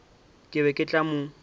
ke be ke tla mo